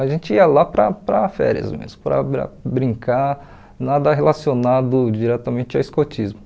A gente ia lá para para férias mesmo, para para brincar, nada relacionado diretamente ao escotismo.